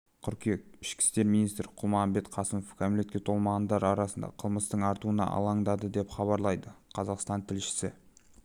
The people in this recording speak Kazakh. қыркүйек ішкі істер министрі қалмұханбет қасымов кәмелетке толмағандар арасында қылмыстың артуына алаңдады деп хабарлайды қазақстан тілшісі